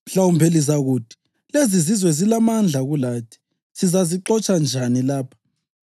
Mhlawumbe lizakuthi: ‘Lezizizwe zilamandla kulathi. Sizazixotsha njani lapha?’